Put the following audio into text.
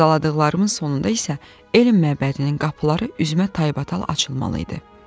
Sadaladıqlarımın sonunda isə elm məbədinin qapıları üzümə taybatay açılmalı idi.